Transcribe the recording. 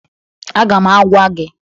Aga m agwa gị